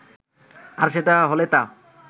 আর সেটা হলে তো